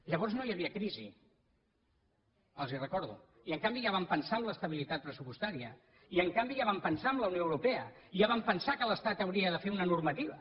llavors no hi havia crisi els ho recordo i en canvi ja vam pensar en l’estabilitat pressupostària i en canvi ja vam pensar en la unió europea i ja vam pensar que l’estat hauria de fer una normativa